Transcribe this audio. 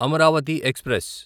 Amaravati express